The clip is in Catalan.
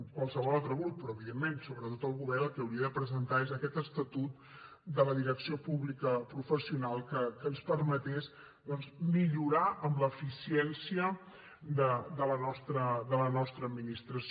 qualsevol altre grup però evidentment sobretot el govern el que hauria de presentar és aquest estatut de la direcció pública professional que ens permetés doncs millorar en l’eficiència de la nostra administració